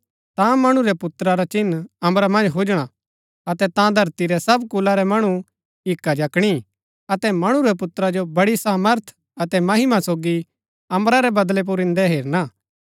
ता मणु रै पुत्रा रा चिन्ह अम्बरा मन्ज हुजणा हा अतै ता धरती रै सब कुला रै मणु हिक्का जकणी अतै मणु रै पुत्रा जो बड़ी सामर्थ अतै महिमा सोगी अम्बरा रै बदळा पुर इन्दै हेरना